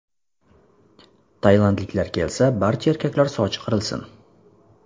Tailandliklar kelsa, barcha erkaklar sochi qirilsin.